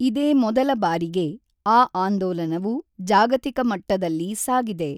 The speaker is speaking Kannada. ಇದೇ ಮೊದಲ ಬಾರಿಗೆ ಆ ಆಂದೋಲನವು ಜಾಗತಿಕ ಮಟ್ಟದಲ್ಲಿ ಸಾಗಿದೆ.